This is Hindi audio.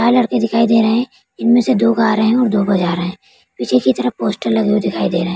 चार लड़के दिखाई दे रहे है इनमें से दो गा रहे है और दो बजा रहे है पीछे की तरफ पोस्टर लगे हुए दिखाई दे रहे है।